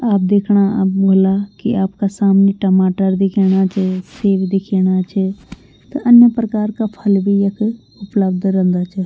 आप दिखणा हूला कि आपका सामने टमाटर दिख्येणा च सेब दिख्येणा च त अन्य प्रकार का फल भी यख उपलब्ध रेंदा च।